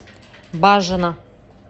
бажина